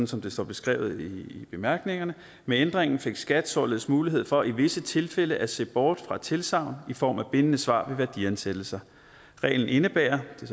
som det står beskrevet i bemærkningerne med ændringen fik skat således mulighed for i visse tilfælde at se bort fra tilsagn i form af bindende svar ved værdiansættelser reglen indebærer det